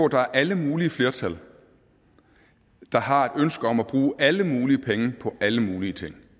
der alle mulige flertal der har et ønske om at bruge alle mulige penge på alle mulige ting